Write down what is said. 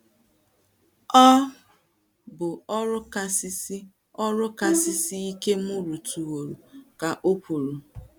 “ Ọ̀ bụ̀ ọrụ kasị siè ọrụ kasị siè ike m rụtụworo, ” ka o kwuru.